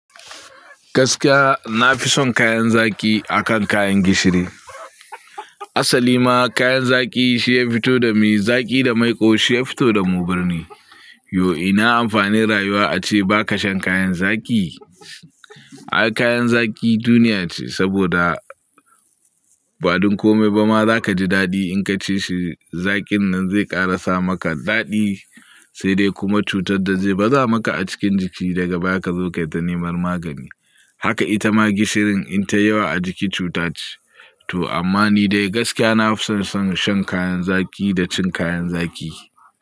Gaskiya na fi son kayan zaki akan kayan gishiri. Asali ma kayan zaki shi ya fito da mu, zaki da maiƙo shi ya fito da mu birni. Yau ina amfani rayuwa ace baka shan kayan zaki? Ah kayan zaki duniya ce saboda ba duk kome ba ma za ka ji daɗi in ka ce shi zakin nan zai ƙarasa maka daɗi sai dai kuma cutar da zai baza maka a cikin jiki daga baya ka zo kai ta neman magani. Haka ita ma gishirin in ta yi yawa a jiki cuta ce. To amma ni dai gaskiya na fi son shan kayan zaki da cin kayan zaki.